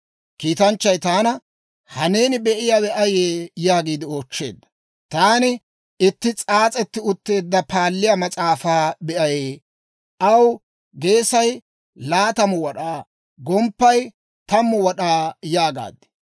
Kiitanchchay taana, «Ha neeni be'iyaawe ayee?» yaagiide oochcheedda. Taani, «Taani itti s'aas'etti utteedda paalliyaa mas'aafaa be'ay; aw geesay laatamu wad'aa; gomppaykka tammu wad'aa» yaagaad.